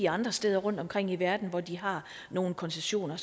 andre steder rundtomkring i verden hvor de har nogle koncessioner